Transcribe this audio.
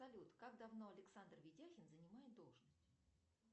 салют как давно александр видяхин занимает должность